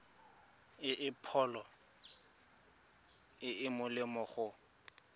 pholo e e molemo go